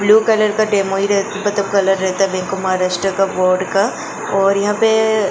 blue colour का demo ही मतलब कलर रहता है वेंको महाराष्ट्र का वर्ड का और यहां पे --